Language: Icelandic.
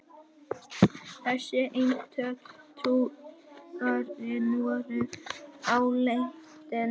Þessi eintöl trúarinnar voru áleitin.